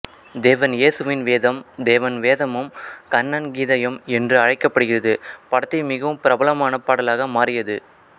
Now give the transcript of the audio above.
தேவன் யேசுவின் வேதம் தேவன் வேதமும் கண்ணன் கீதையும் என்றும் அழைக்கப்படுகிறது படத்தின் மிகவும் பிரபலமான பாடலாக மாறியது